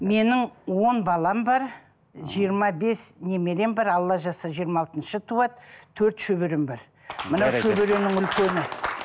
менің он балам бар жиырма бес немерем бар алла жазса жиырма алтыншы туады төрт шөберем бар мына шөберемнің үлкені